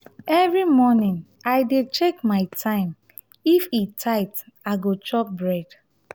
every morning i dey check my time; if e tight i go chop bread.